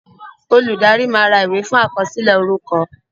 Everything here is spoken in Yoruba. Olùdarí máa ra ìwé fún àkọsílẹ̀ orúkọ